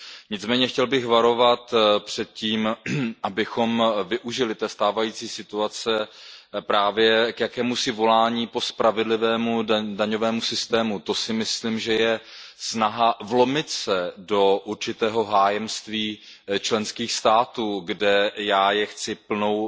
Nicméně chtěl bych varovat před tím, abychom využili té stávající situace právě k jakémusi volání po spravedlivém daňovém systému, to si myslím, že je snaha vlomit se do určitého hájenství členských států, které já chci plnou